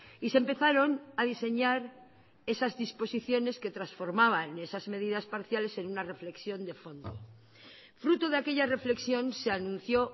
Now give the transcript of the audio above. y se empezaron a diseñar esas disposiciones que transformaban esas medidas parciales en una reflexión de fondo fruto de aquella reflexión se anunció